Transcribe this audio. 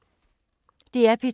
DR P2